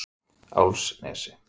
Álfsnesi